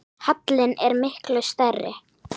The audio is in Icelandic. Halinn er miklu stærri.